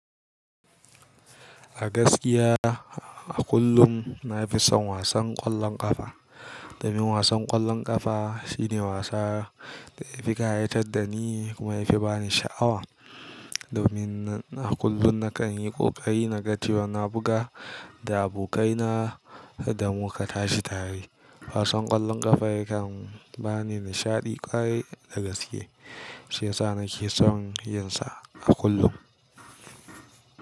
A gaskiya a kullum na fi son wasan ƙwallon ƙafa. Domin wasan ƙwallon ƙafa shine wasa da ya fi ƙayatar da ni kuma ya fi ba ni sha'awa. Domin a kullum na kan yi ƙoƙari na ga cewa na buga da abokaina da mu ka tashi tare. Wasan ƙwallon ƙafa yakan ba ni nishaɗi ƙwarai da gaske shiyasa nake son yin sa a kullum.